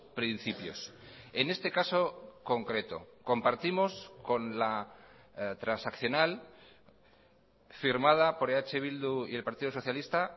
principios en este caso concreto compartimos con la transaccional firmada por eh bildu y el partido socialista